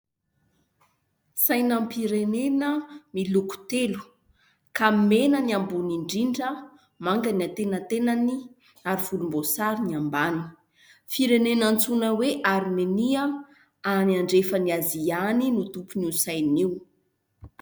Saina-pirenena miloko telo ka mena ny ambony indrindra, manga ny antenatenany ary volomboasary ny ambany; firenena antsoina hoe Armenia any andrefan'ny Azia any no tompon'io saina io.